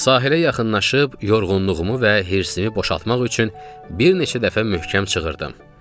Sahilə yaxınlaşıb yorğunluğumu və hirsimi boşaltmaq üçün bir neçə dəfə möhkəm çığırdım.